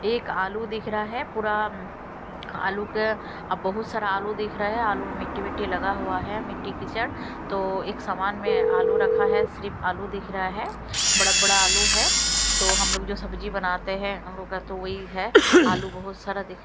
एक आलू दिख रहा है पूरा आलू के अब बहुत सारा आलू दिख रहा है आलू मिट्टी मिट्टी लगा हुआ है मिट्टी किचड़ तो एक सामान में आलू रखा है सिर्फ आलू दिख रहा है बड़ा बड़ा आलू है तो हम लोग जो सब्जी बनाते हैं हम लोग का तो वही है आलू बहुत सारा देख--